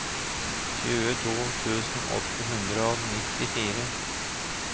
tjueto tusen åtte hundre og nittifire